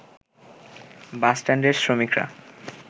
বাসষ্ট্যান্ডের শ্রমিকরা